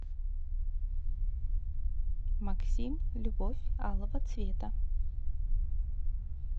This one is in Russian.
максим любовь алого цвета